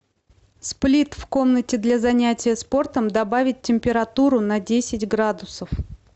сплит в комнате для занятия спортом добавить температуру на десять градусов